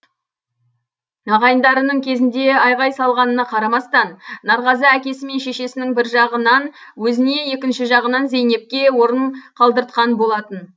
ағайындарының кезінде айғай салғанына қарамастан нарғазы әкесі мен шешесінің бір жағынан өзіне екінші жағынан зейнепке орын қалдыртқан болатын